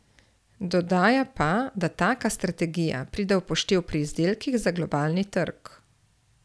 Dodaja pa, da taka strategija pride v poštev pri izdelkih za globalni trg.